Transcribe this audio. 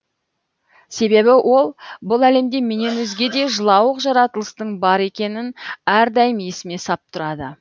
себебі ол бұл әлемде менен өзге де жылауық жаратылыстың бар екенін әрдайым есіме сап тұрады